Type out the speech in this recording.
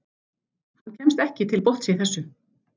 Hann kemst ekki til botns í þessu.